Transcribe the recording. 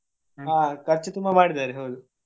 ಹಾ ಖರ್ಚು ತುಂಬಾ ಮಾಡಿದಾರೆ ಹೌದು.